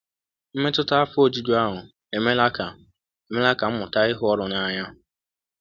Mmetụta afọ ojuju ahụ emeela ka emeela ka m mụta ịhụ ọrụ n’anya.